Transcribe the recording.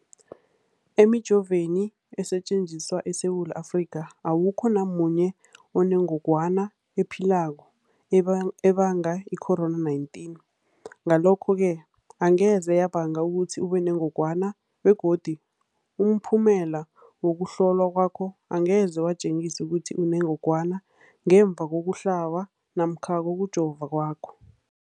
Emijoveni esetjenziswa eSewula Afrika, awukho namunye onengog wana ephilako ebanga i-COVID-19. Ngalokho-ke angeze yabanga ukuthi ubenengogwana begodu umphumela wokuhlolwan kwakho angeze watjengisa ukuthi unengogwana ngemva kokuhlaba namkha kokujova kwakho.